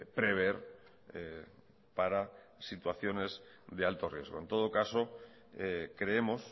prever para situaciones de alto riesgo en todo caso creemos